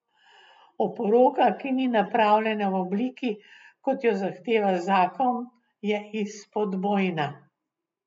Oporoka, ki ni napravljena v obliki, kot jo zahteva zakon, je izpodbojna.